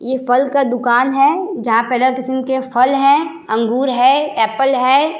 ये फल का दुकान है जहां पर अलग किस्म का फल है अंगूर है। एप्पल है।